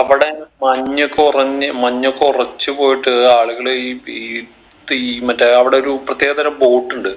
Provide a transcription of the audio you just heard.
അവിടെ മഞ്ഞ് ഒക്കെ ഒറഞ്ഞ് മഞ്ഞ് ഒക്കെ ഒറച്ച് പോയിട്ട്‌ ആളുകൾ ഈ ഈ പീ മറ്റേ അവിടെ ഒരു പ്രത്യേകതരം boat ഇണ്ട്